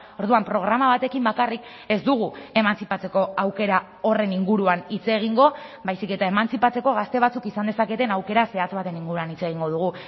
orduan programa batekin bakarrik ez dugu emantzipatzeko aukera horren inguruan hitz egingo baizik eta emantzipatzeko gazte batzuk izan dezaketen aukera zehatz baten inguruan hitz egingo dugu